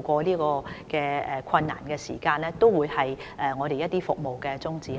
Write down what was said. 過這段困難的時間，這些都是我們的服務宗旨。